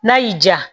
N'a y'i diya